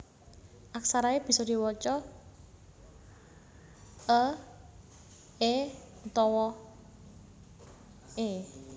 Aksara e bisa diwaca e é utawa è